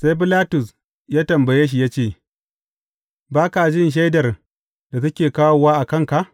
Sai Bilatus ya tambaye shi ya ce, Ba ka jin shaidar da suke kawowa a kanka?